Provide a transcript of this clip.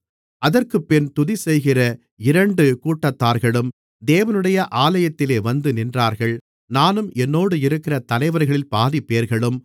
அதற்குப்பின்பு துதிசெய்கிற இரண்டு கூட்டத்தார்களும் தேவனுடைய ஆலயத்திலே வந்து நின்றார்கள் நானும் என்னோடு இருக்கிற தலைவர்களில் பாதிப்பேர்களும்